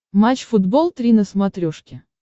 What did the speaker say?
матч футбол три на смотрешке